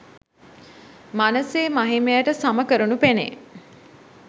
මනසේ මහිමයට සම කරනු පෙනෙයි